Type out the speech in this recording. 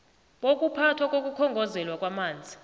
bokuphathwa kokukhongozelwa kwamanzi